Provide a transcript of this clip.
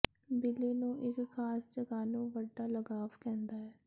ਬਿੱਲੀ ਨੂੰ ਇੱਕ ਖਾਸ ਜਗ੍ਹਾ ਨੂੰ ਵੱਡਾ ਲਗਾਵ ਕਹਿੰਦਾ ਹੈ